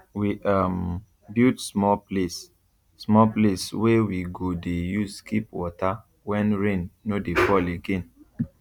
we um build small place small place wey we go dey use keep water when rain no dey fall again